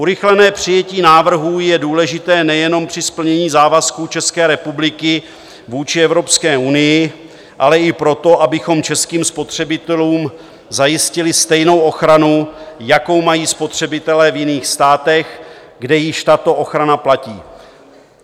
Urychlené přijetí návrhu je důležité nejenom při splnění závazků České republiky vůči Evropské unii, ale i proto, abychom českým spotřebitelům zajistili stejnou ochranu, jakou mají spotřebitelé v jiných státech, kde již tato ochrana platí.